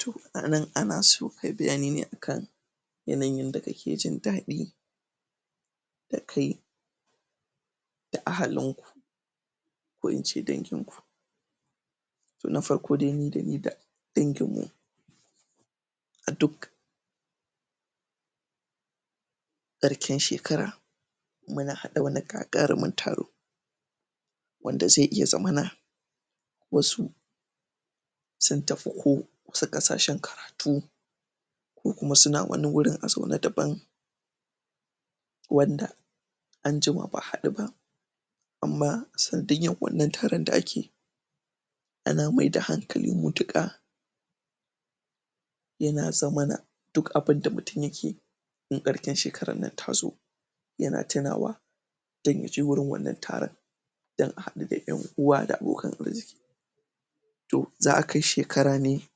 to anan anaso kayi bayani ne akan yanayin yanda kake jindaɗi da kai da ahalinku ko ince danginku na farko dai dani da danginmu a duk ƙarshan shekara muna haɗa wani gagarumin taro wanda zai iya zamana wasu sun tafi ko wasu ƙasashan karatu ko kuma suna wani wurin a zaune daban wanda anjima ba a haɗu ba amma sanadiyyar wanna taron da ake ana maida hankali mu duka yana zamana duk abunda mutun yakeyi in ƙarshin shekarar nan tazo yana tunawa dan yaje wurin wannan taron da a haɗu da ƴan uwa da abokan arziki to za a kai shekara ne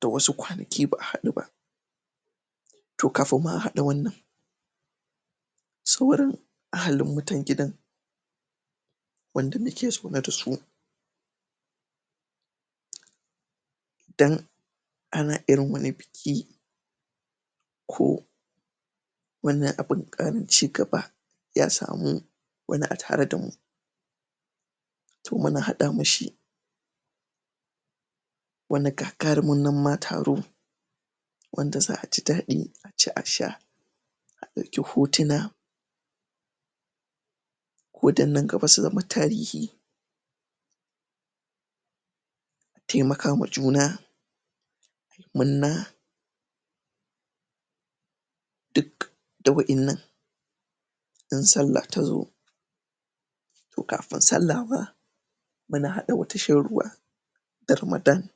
da wasu ƙwanaki ba a haɗu ba to kafin ma a haɗa wannan sauran ahalin mutan gidan wanda muke zaune dasu dan ana irin wani biki ko wannan abun ƙarin cigaba ya samu wani a tare damu to muna haɗa mishi wani gagarumin nan ma taro wanda za'a jidaɗi aci a sha a ɗauke hotuna ko dan nan gaba su zama tarihi taimakama juna munna duk da wa innan in sallah tazo to kafin sallah ma muna haɗa wata shan ruwa da ramadan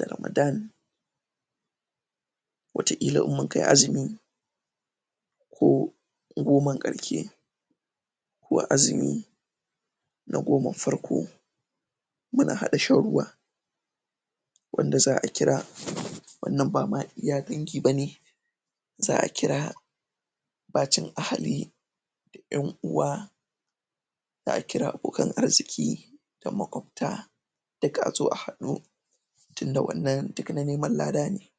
da ramadan wata ƙila in munkai azumi ko goman ƙarshe ko azumi na goman farko muna haɗa shan ruwa wanda za a kira wannan bama iya dangi bane za a kira bacin ahali da ƴan'uwa za a kira abokan arziki da maƙwafta duk azo a haɗu tunda wannan duk na neman lada ne